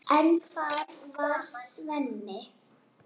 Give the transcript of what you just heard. En hvar var Svenni?